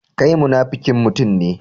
Kai munafukin mutum ne.